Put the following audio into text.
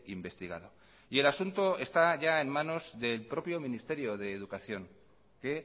investigado y el asunto está ya en manos del propio ministerio de educación que